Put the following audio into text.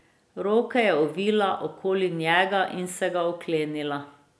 Roke je ovila okoli njega in se ga oklenila.